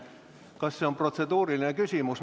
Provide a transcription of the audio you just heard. Kas see on protseduuriline küsimus?